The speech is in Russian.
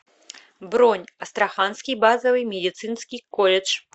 бронь астраханский базовый медицинский колледж